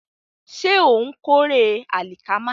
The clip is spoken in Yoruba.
Ṣé ó ń kórè àlìkámà?